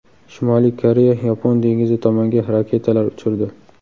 Shimoliy Koreya Yapon dengizi tomonga raketalar uchirdi.